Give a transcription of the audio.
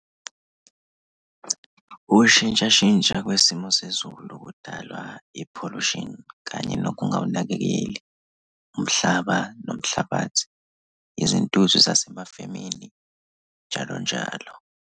Ukushintshashintsha kwesimo sezulu kudala i-pollution kanye nokungawunakekeli umhlaba nomhlabathi. Izintuthu zasemafemini, njalo njalo.